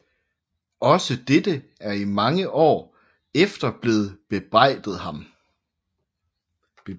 Også dette er i mange år efter blevet bebrejdet ham